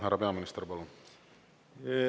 Härra peaminister, palun!